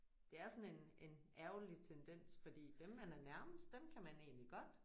Det er sådan en en ærgerlig tendens fordi dem man er nærmest dem kan man egentlig godt